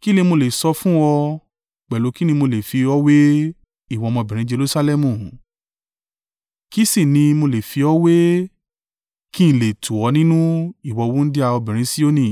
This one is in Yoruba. Kí ni mo le sọ fún ọ? Pẹ̀lú kí ni mo lè fi ọ́ wé, ìwọ ọmọbìnrin Jerusalẹmu? Kí sì ni mo lè fi ọ́ wé, kí n lè tù ọ́ nínú, ìwọ wúńdíá obìnrin Sioni?